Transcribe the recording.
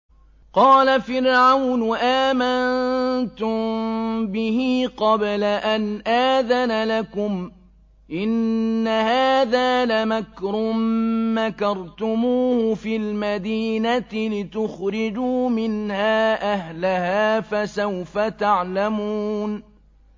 قَالَ فِرْعَوْنُ آمَنتُم بِهِ قَبْلَ أَنْ آذَنَ لَكُمْ ۖ إِنَّ هَٰذَا لَمَكْرٌ مَّكَرْتُمُوهُ فِي الْمَدِينَةِ لِتُخْرِجُوا مِنْهَا أَهْلَهَا ۖ فَسَوْفَ تَعْلَمُونَ